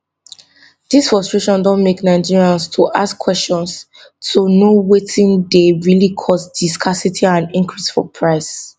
dis frustration don make nigerians to ask kwesions to know wetin dey really cause di scarcity and increase for price